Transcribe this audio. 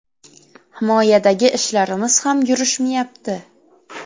Himoyadagi ishlarimiz ham yurishmayapti.